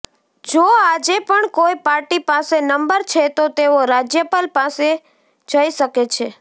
જો આજે પણ કોઈ પાર્ટી પાસે નંબર છે તો તેઓ રાજ્યપાલ પાસે જઇ શકે છે